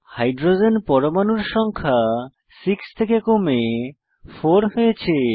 hydrogen পরমাণুর সংখ্যা 6 থেকে কমে 4 হয়েছে